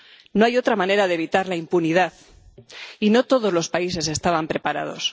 No hay otra manera de evitar la impunidad, y no todos los países estaban preparados.